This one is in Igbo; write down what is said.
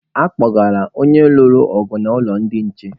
A kpụgara onye lụrụ ọgụ n'ụlọ ndị nche.